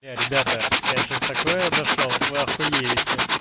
ребята я сейчас такое дошёл охуеть